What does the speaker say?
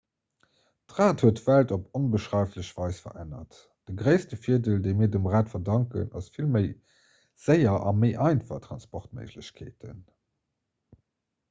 d'rad huet d'welt op onbeschreiflech weis verännert de gréisste virdeel dee mir dem rad verdanken ass vill méi séier a méi einfach transportméiglechkeeten